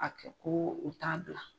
A ko ko u t'a bila.